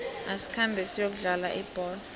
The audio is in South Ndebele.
asikhambe siyokudlala ibholo